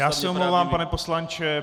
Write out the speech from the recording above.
Já se omlouvám, pane poslanče.